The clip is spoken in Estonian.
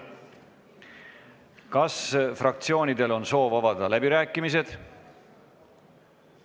Kas fraktsioonidel on soov avada läbirääkimised?